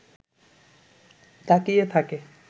তাকিয়ে থাকে